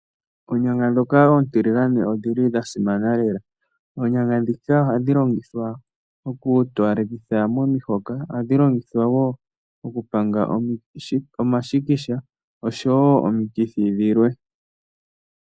Oonyanga ndhoka oontiligane odhi li dha simana lela. Oonyanga ndhika ohadhi longithwa mokutowalekitha omahoka, ohadhi longithwa wo oku panga omashikisha osho wo omikithi dhilwe.